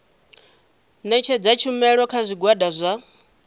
ṋetshedza tshumelo kha zwigwada zwa